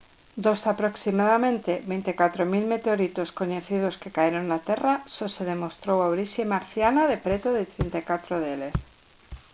dos aproximadamente 24 000 meteoritos coñecidos que caeron na terra só se demostrou a orixe marciana de preto de 34 deles